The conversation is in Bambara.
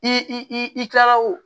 I i kila o